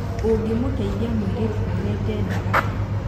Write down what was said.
ũngĩmũteithia mũirĩtu wohete nda atia?